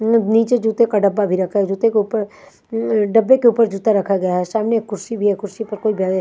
नीचे जूते का डब्बा भी रखा जूते के ऊपर अं डब्बे के ऊपर जूता रखा गया है सामने कुर्सी भी है कुर्सी पर कोई बै--